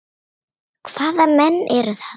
Hvaða menn eru það?